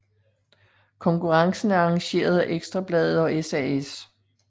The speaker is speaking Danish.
Konkurrencen er arrangeret af Ekstra Bladet og SAS